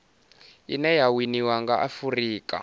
ine ya winiwa nga afurika